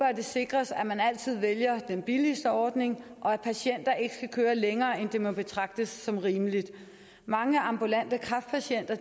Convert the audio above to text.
sikres at man altid vælger den billigste ordning og at patienter ikke skal køres længere end det der må betragtes som rimeligt mange ambulante kræftpatienter